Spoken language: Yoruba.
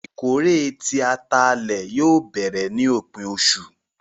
Ìkórè tí àtálẹ yóò bẹ̀rẹ̀ ni opin ọṣu.